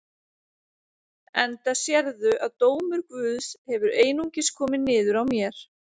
Enda sérðu að dómur Guðs hefur einungis komið niður á mér.